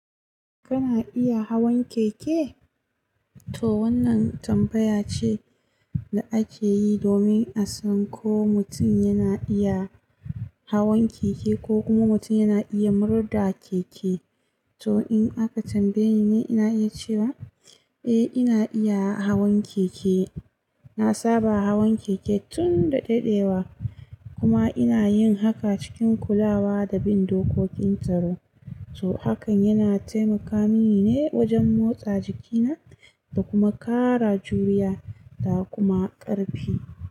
Kana iya hawan keke? To wannan tambaya ce da ake yi domin a san ko mutum yana iya hawan keke ko kuma mutum yana iya murda keke. To in aka tambaye ni, ina iya cewa eh ina iya hawan keke. Na saba hawan keke tun da dadewa kuma ina yin haka cikin kulawa da bin dokokin tsaro. To hakan yana taimaka mini ne wajen motsa jikina da kuma ƙara juriya da kuma ƙarfi.